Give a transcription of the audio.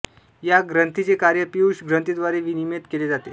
या ग्रंथीचे कार्य पीयूष ग्रंथिद्वारे विनियमित केले जाते